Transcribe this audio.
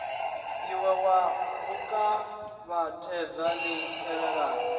ie wa kuvhatedza li tevhelaho